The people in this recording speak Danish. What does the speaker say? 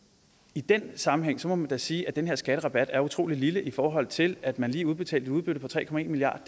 i den sammenhæng må man da sige at den her skatterabat er utrolig lille i forhold til at man lige udbetalte et udbytte på tre milliard